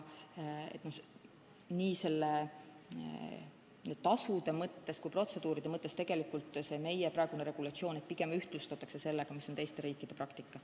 Nii asjaomaste tasude mõttes kui protseduuride mõttes soovib meie praegune regulatsioon pigem ühtlustust sellega, mis on teiste riikide praktika.